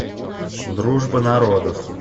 дружба народов